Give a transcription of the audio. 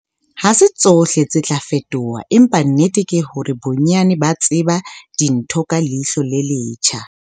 Ha se tsohle tse tla fetoha, empa nnete ke hore bonyane ba sheba dintho ka leihlo le letjha.